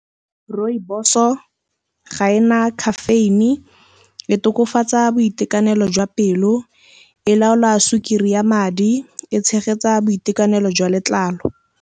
Rooibos-o ga ena caffeine, e tokafatsa boitekanelo jwa pelo, e laola sukiri ya madi, e tshegetsa boitekanelo jwa letlalo.